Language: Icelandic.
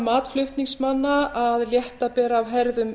mat flutningsmanna er að létta beri af herðum